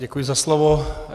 Děkuji za slovo.